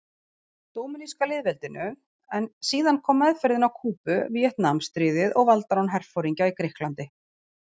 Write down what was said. Dóminíska lýðveldinu, en síðan kom meðferðin á Kúbu, Víetnamstríðið og valdarán herforingja í Grikklandi.